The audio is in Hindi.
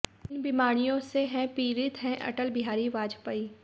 इन बीमारियों से हैं पीड़ित है अटल बिहारी वाजपेयी